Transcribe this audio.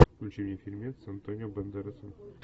включи мне фильмец с антонио бандерасом